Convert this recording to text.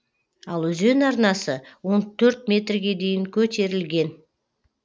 ал өзен арнасы он төрт метрге дейін көтерілген